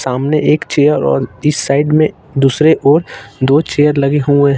सामने एक चेयर और इस साइड में दूसरे ओर दो चेयर लगे हुए--